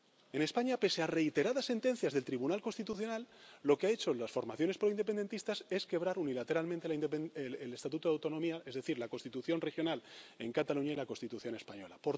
En España, pese a reiteradas sentencias del Tribunal Constitucional, lo que han hecho las formaciones proindependentistas es quebrar unilateralmente el Estatuto de Autonomía, es decir, la Constitución regional en Cataluña y la Constitución española.